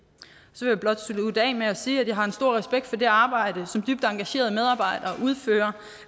så blot slutte af med at sige at jeg har en stor respekt for det arbejde som dybt engagerede medarbejdere udfører